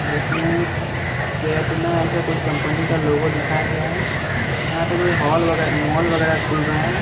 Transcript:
जिसमें केटना ऐसा कुछ कंपनी का लोगो दिखाया गया है यहां पे कोई हॉल वगैरा मॉल वगैरा खुल रहा है।